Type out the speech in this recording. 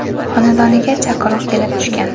xonadoniga chaqiruv kelib tushgan.